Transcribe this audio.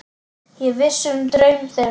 Ég vissi um draum þeirra.